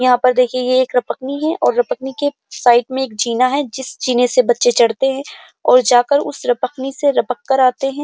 यहाँ पर देखिये ये एक रपटनी है और रपटनी के साइड मै जीना है। जिस जिने से बच्चे चढ़ते है और जाकर उस रपटनी से लिपपकर आते हैं।